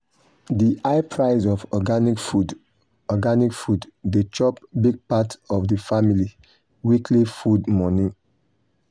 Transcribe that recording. the high price of organic food organic food dey chop big part of the family weekly food money.